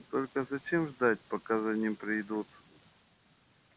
только зачем ждать пока за ним придут